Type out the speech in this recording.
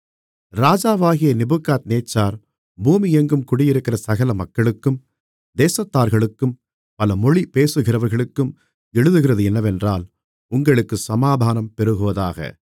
ராஜாவாகிய நேபுகாத்நேச்சார் பூமி எங்கும் குடியிருக்கிற சகல மக்களுக்கும் தேசத்தார்களுக்கும் பல மொழி பேசுகிறவர்களுக்கும் எழுதுகிறது என்னவென்றால் உங்களுக்குச் சமாதானம் பெருகுவதாக